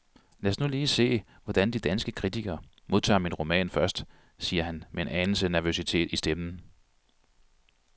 Lad os nu lige se, hvordan de danske kritikere modtager min roman først, siger han med en anelse nervøsitet i stemmen.